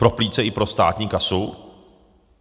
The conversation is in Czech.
Pro plíce i pro státní kasu?